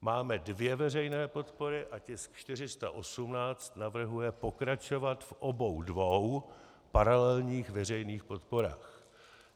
Máme dvě veřejné podpory a tisk 418 navrhuje pokračovat v obou dvou paralelních veřejných podporách.